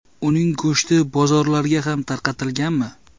Uning go‘shti bozorlarga ham tarqatilganmi?